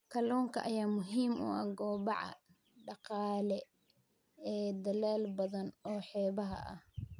Kalluunka ayaa muhiim u ah kobaca dhaqaale ee dalal badan oo xeebaha ah.